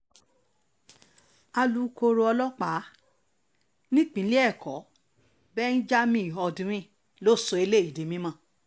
alūkkóró ọlọ́pàá nípìnlẹ̀ ẹ̀kọ́ benjamin hondyin ló sọ eléyìí di mímọ́